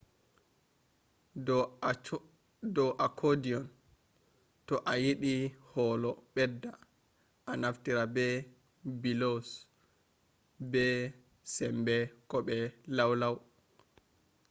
do accordion to a yiɗi holo ɓedda a naftira be bellows be sembe ko be lau lau